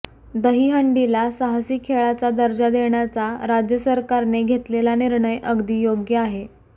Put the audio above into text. दहीहंडीला साहसी खेळाचा दर्जा देण्याचा राज्य सरकारने घेतलेला निर्णय अगदी योग्य आहे